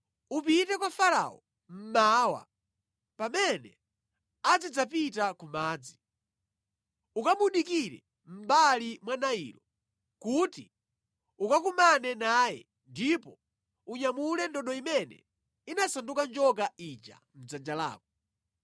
Upite kwa Farao mmawa pamene azidzapita ku madzi. Ukamudikire mʼmbali mwa Nailo kuti ukakumane naye ndipo unyamule ndodo imene inasanduka njoka ija mʼdzanja lako.